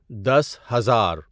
دس ہزار